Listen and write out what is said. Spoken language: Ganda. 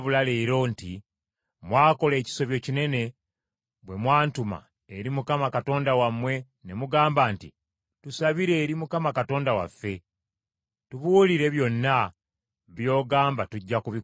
nti, Mwakola ekisobyo kinene bwe mwantuma eri Mukama Katonda wammwe ne mugamba nti, ‘Tusabire eri Mukama Katonda waffe: tubuulire byonna by’agamba tujja kubikola.’